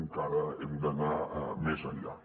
encara hem d’anar més enllà